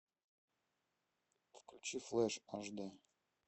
включи флэш аш дэ